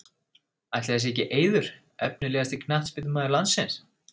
Ætli það sé ekki Eiður Efnilegasti knattspyrnumaður landsins?